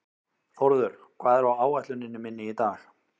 Þórður, hvað er á áætluninni minni í dag?